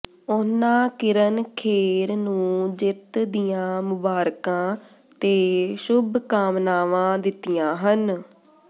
ਉਨ੍ਹਾਂ ਕਿਰਨ ਖੇਰ ਨੂੰ ਜਿੱਤ ਦੀਆਂ ਮੁਬਾਰਕਾਂ ਤੇ ਸ਼ੁਭ ਕਾਮਨਾਵਾਂ ਦਿੱਤੀਆਂ ਹਨ